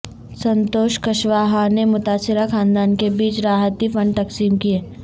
سنتوش کشواہا نے متاثرہ خاندان کے بیچ راحتی فنڈ تقسیم کیے